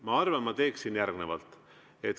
Ma arvan, ma teeksin järgnevalt.